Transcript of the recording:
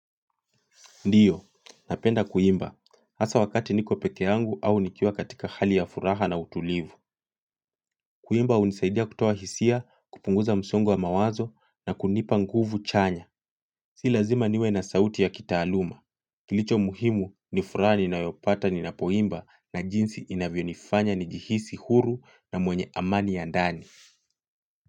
Ndiyo, napenda kuimba. Asa wakati niko peke yangu au nikiuwa katika hali ya furaha na utulivu. Kuimba unisaidia kutawa hisia, kupunguza msongo wa mawazo na kunipa nguvu chanya. Si lazima niwe na sauti ya kitaaluma. Kilicho muhimu ni furaha ninayopata nina poimba na jinsi inavyonifanya ni jihisi huru na mwenye amani ya ndani.